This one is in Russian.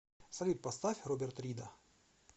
салют поставь роберт рида